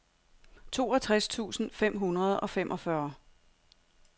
toogtres tusind fem hundrede og femogfyrre